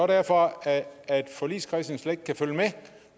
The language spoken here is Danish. derfor at at forligskredsen slet ikke kan følge med